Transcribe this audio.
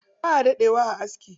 Baʼa daɗe wa a aski.